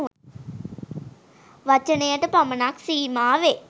වචනයට පමණක් සීමාවේ.